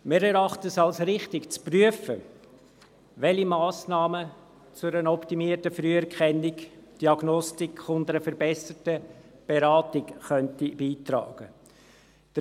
Wir erachten es als richtig, zu prüfen, welche Massnahmen zu einer optimierten Früherkennung, Diagnostik und einer verbesserten Beratung beitragen könnten.